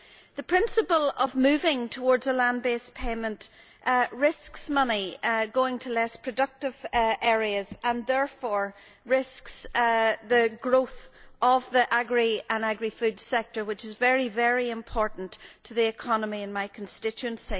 The principle of moving towards a land based payment risks money going to less productive areas and therefore risks the growth of the agri and agri food sector which is very important to the economy in my constituency.